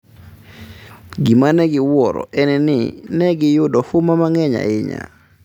Gima ne giwuoro en ni, ne giyudo huma mang’eny ahinya.